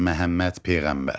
Məhəmməd peyğəmbər.